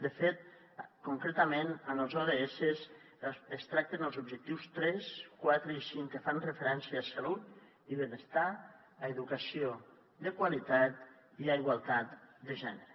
de fet concretament en els ods es tracta en els objectius tres quatre i cinc que fan referència a salut i benestar a educació de qualitat i a igualtat de gènere